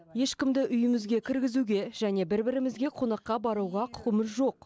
ешкімді үйімізге кіргізуге және бір бірімізге қонаққа баруға құқымыз жоқ